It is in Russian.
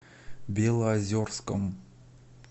белозерском